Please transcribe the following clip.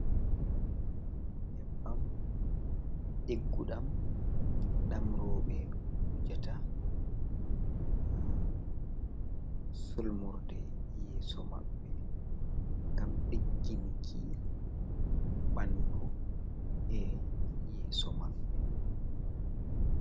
Nyebbam digguɗam ɗam roɓe wujata ha sulmorde yeso maɓɓe ngam ɗigginki ɓandu e'yeso maɓɓe.